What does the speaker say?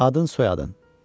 Adın, soyadın?